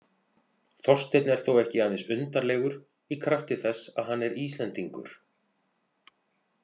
Þorsteinn er þó ekki aðeins undarlegur í krafti þess að hann er Íslendingur.